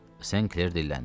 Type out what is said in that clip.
St. Kler dilləndi.